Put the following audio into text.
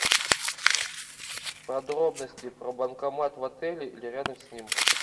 подробности про банкомат в отеле или рядом с ним